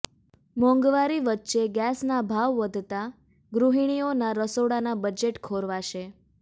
મોંઘવારી વચ્ચે ગેસના ભાવ વધતા ગૃહિણિઓના રસોડાના બજેટ ખોરવાશે